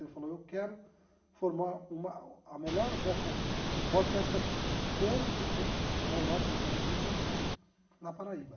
Ele falou, eu quero formar uma a melhor orquestra, uma orquestra como se tem na Europa e nos Estados Unidos, aqui, na Paraíba.